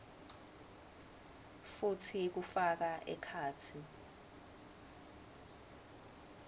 futsi kufaka ekhatsi